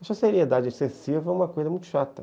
Essa seriedade excessiva é uma coisa muito chata.